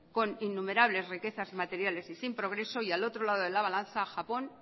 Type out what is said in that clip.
con innumerables riquezas materiales y sin progreso y al otro lado de la balanza japón